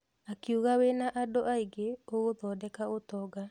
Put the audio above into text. Akiuga wĩna andũ aingĩ ũgathondeka ũtonga.